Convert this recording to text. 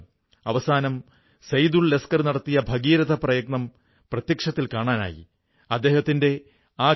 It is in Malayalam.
പ്രിയപ്പെട്ട ദേശവാസികളേ നമുക്ക് നമ്മുടെ സാധനങ്ങളിൽ അഭിമാനംതോന്നുമ്പോൾ ലോകമെങ്ങുംതന്നെ അവയോട് ഒരു ജിജ്ഞാസ വർധിക്കുവാൻ തുടങ്ങുന്നു